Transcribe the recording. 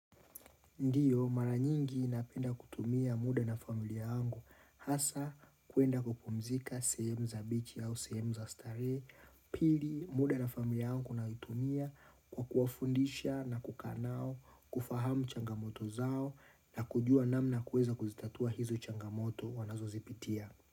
Ndiyo mara nyingi napenda kutumia muda na familia yangu hasa kwenda kupumzika sehemu za beach au sehemu za starehe pili muda na familia yangu kunaitumia kwa kuwafundisha na kukaa nao kufahamu changamoto zao na kujua namna kuweza kuzitatua hizo changamoto wanazozipitia.